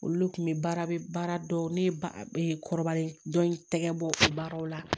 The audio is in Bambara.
Olu le kun be baara dɔ ne ba kɔrɔbalen dɔ in tɛgɛ bɔ o baaraw la